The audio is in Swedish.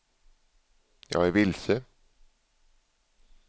jag är vilse